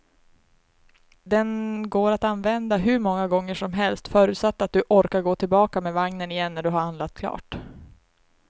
Den går att använda hur många gånger som helst, förutsatt att du orkar gå tillbaka med vagnen igen när du har handlat klart.